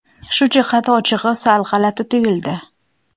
Shu jihati, ochig‘i, sal g‘alati tuyuldi.